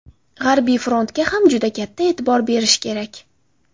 G‘arbiy frontga ham juda katta e’tibor berish kerak.